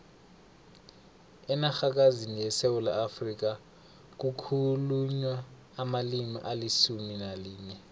enarhakazini yesewula afrika kukhulunywa amalimi alisumu nalinye